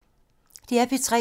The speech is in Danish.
DR P3